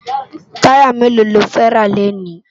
Tàyá méló ló fè rá lénì?